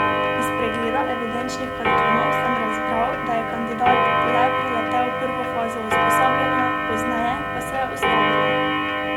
Iz pregleda evidenčnih kartonov sem razbral, da je kandidat le preletel prvo fazo usposabljanja, pozneje pa se je ustavilo.